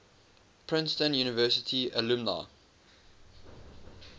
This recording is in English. princeton university alumni